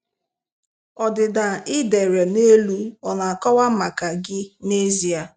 Ọdịda ị dere nelu ọ na-akọwa maka gị nezie?